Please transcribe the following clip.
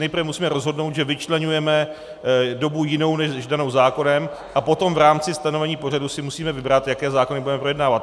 Nejprve musíme rozhodnout, že vyčleňujeme dobu jinou než danou zákonem, a potom v rámci stanovení pořadu si musíme vybrat, jaké zákony budeme projednávat.